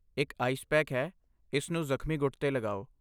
ਇੱਕ ice pack ਹੈ, ਇਸ ਨੂੰ ਜ਼ਖਮੀ ਗੁੱਟ 'ਤੇ ਲਗਾਓ।